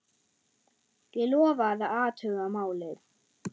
Ég lofa að athuga málið.